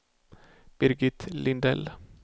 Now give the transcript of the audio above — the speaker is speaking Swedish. Birgit Lindell